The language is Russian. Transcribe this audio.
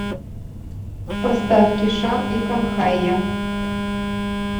поставь кишан и канхайя